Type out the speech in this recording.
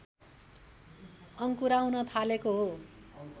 अङ्कुराउन थालेको हो